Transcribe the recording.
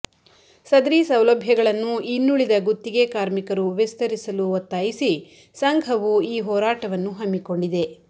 ಸದರಿ ಸೌಲಭ್ಯಗಳನ್ನು ಇನ್ನುಳಿದ ಗುತ್ತಿಗೆ ಕಾರ್ಮಿಕರು ವಿಸ್ತರಿಸಲು ಒತ್ತಾಯಿಸಿ ಸಂಘವು ಈ ಹೋರಾಟವನ್ನು ಹಮ್ಮಿಕೋಂಡಿದೆ